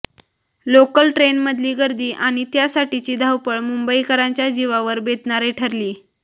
local ट्रेनमधली गर्दी आणि त्यासाठीची धावपळ मुंबईकरांच्या जीवावर बेतणारी ठरलीय